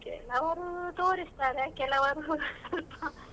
ಕೆಲವ್ರು ತೋರಿಸ್ತಾರೆ ಕೆಲವ್ರು .